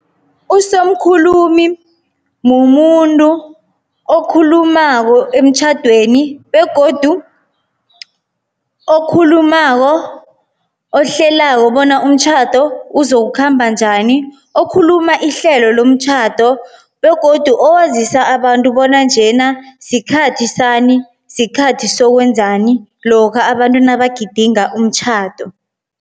Usomkhulumi mumuntu okhulumako emtjhadweni begodu okhulumako ohlelako bona umtjhado uzokukhamba njani. Okhuluma ihlelo lomtjhado begodu owazisa abantu bona njena sikhathi sani, sikhathi sokwenzani lokha abantu nabagidinga umtjhado.